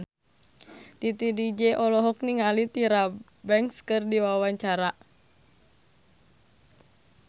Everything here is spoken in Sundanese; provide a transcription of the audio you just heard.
Titi DJ olohok ningali Tyra Banks keur diwawancara